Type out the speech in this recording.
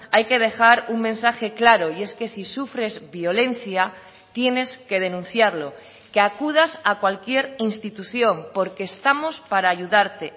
hay que dejar un mensaje claro y es que si sufres violencia tienes que denunciarlo que acudas a cualquier institución porque estamos para ayudarte